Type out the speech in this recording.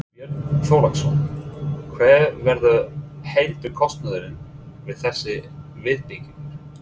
Björn Þorláksson: Hver verður heildarkostnaðurinn við þessa viðbyggingu?